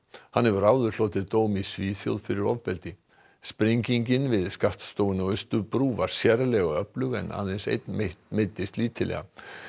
hann hefur áður hlotið dóm í Svíþjóð fyrir ofbeldi sprengingin við skattstofuna á Austurbrú var sérlega öflug en aðeins einn meiddist lítillega